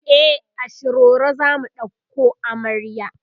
e a shiroro zamu ɗauko amarya